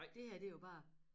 Det her det jo bare